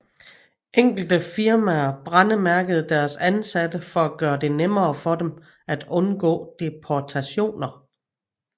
Enkelte firmaer brændemærkede deres ansatte for at gøre det nemmere for dem at undgå deportationer